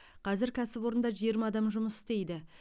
қазір кәсіпорында жиырма адам жұмыс істейді